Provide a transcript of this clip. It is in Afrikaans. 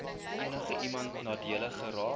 enigiemand nadelig geraak